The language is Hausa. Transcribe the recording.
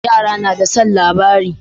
Yara nada son labari